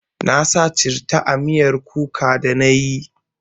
Na sa citta a miyar kukan da na yi